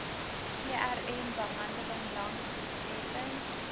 trmbehandeling lank doeltreffend